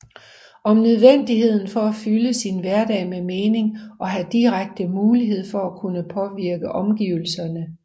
Om nødvendigheden for at fylde sin hverdag med mening og at have direkte mulighed for at kunne påvirke omgivelserne